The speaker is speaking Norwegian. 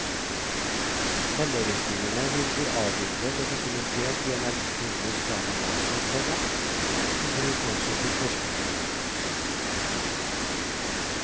Helleristningene vil bli avbildet og dokumentert i en elektronisk database, komma til bruk også for forskere. punktum